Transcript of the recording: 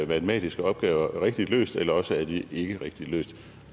matematiske opgaver rigtigt løst eller også er de ikke rigtigt løst